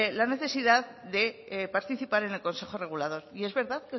la necesidad de participar en el consejo regulador y es verdad